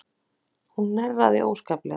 Hún hnerraði óskaplega.